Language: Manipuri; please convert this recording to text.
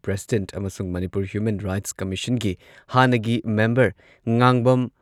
ꯄ꯭ꯔꯁꯤꯗꯦꯟꯠ ꯑꯃꯁꯨꯡ ꯃꯅꯤꯄꯨꯔ ꯍ꯭ꯌꯨꯃꯦꯟ ꯔꯥꯏꯠꯁ ꯀꯝꯃꯤꯁꯟꯒꯤ ꯍꯥꯟꯅꯒꯤ ꯃꯦꯝꯕꯔ ꯉꯥꯡꯕꯝ